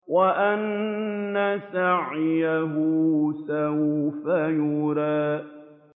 وَأَنَّ سَعْيَهُ سَوْفَ يُرَىٰ